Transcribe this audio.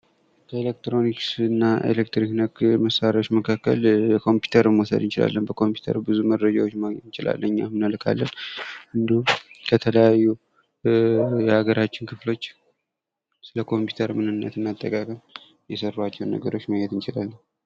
ኤሌክትሮኒክስና ኤሌክትሪክ ነክ መሳሪያዎች መካከል ኮምፒዩተር መውሰድ እንችላለን በኮምፒውተር ብዙ መረጃዎች ማግኘት እንችላለን እንዲሁም ከተለያዩ የሀገራችን ክፍሎች ስለ ኮምፒውተር ምንነትና አጠቃቀም የሰራቸውን ነገሮች ማየት እንችላለን!